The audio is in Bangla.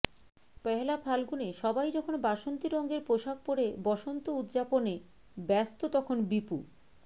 পহেলা ফাল্গুনে সবাই যখন বাসন্তি রঙের পোশাক পড়ে বসন্ত উদযাপনে ব্যস্ত তখন বিপু